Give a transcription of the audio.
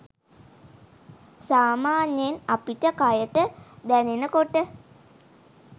සාමාන්‍යයෙන් අපිට කයට දැනෙන කොට